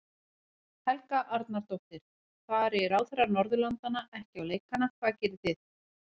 Helga Arnardóttir: Fari ráðherrar Norðurlandanna ekki á leikana hvað gerið þið?